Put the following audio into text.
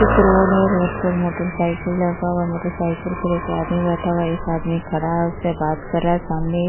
एक रोड है | रोड पर मोटरसाइकिल लगा हुआ है। मोटरसाइकिल पर एक आदमी बैठा हुआ है | एक आदमी खड़ा है उससे बात कर रहा है सामने --